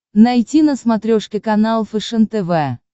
найти на смотрешке канал фэшен тв